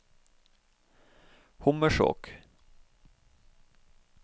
Hommersåk